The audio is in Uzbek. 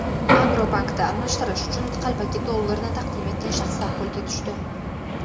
"Agrobank"da almashtirish uchun qalbaki dollarni taqdim etgan shaxslar qo‘lga tushdi.